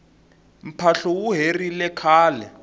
mphahlu wu herile khale